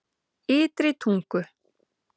Ytri Tungu